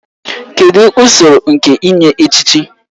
Kedụ usoro nke inye echichi?